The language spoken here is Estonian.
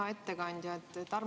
Hea ettekandja!